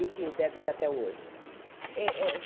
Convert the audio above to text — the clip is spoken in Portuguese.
E que deve ser até hoje. É é